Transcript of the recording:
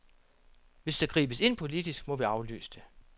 Hvis der gribes ind politisk, må vi aflyse det.